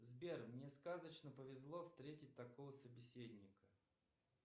сбер мне сказочно повезло встретить такого собеседника